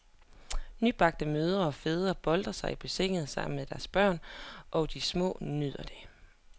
Nybagte mødre og fædre boltrer sig i bassinet sammen med deres børn, og de små nyder det.